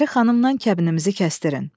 Pəri xanımdan kəbinimizi kəsdirin.